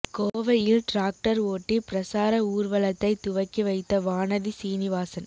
கோவையில் டிராக்டர் ஓட்டி பிரசார ஊர்வலத்தை துவக்கி வைத்த வானதி சீனிவாசன்